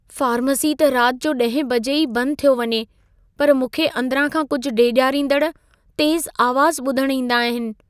Pharmacy त राति जो 10 बजे ई बंदि थियो वञे, पर मूंखे अंदिरां खां कुझु डेॼारींदड़ तेज़ आवाज़ ॿुधण ईंदा आहिन।